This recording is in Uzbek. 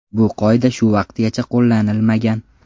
Bu qoida shu vaqtgacha qo‘llanilmagan.